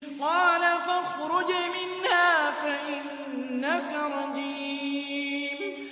قَالَ فَاخْرُجْ مِنْهَا فَإِنَّكَ رَجِيمٌ